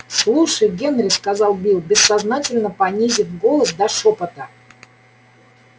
слушай генри сказал билл бессознательно понизив голос до шёпота